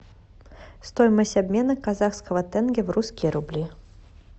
стоимость обмена казахского тенге в русские рубли